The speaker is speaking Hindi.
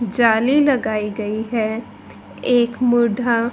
जाली लगाई गई है एक बुढा--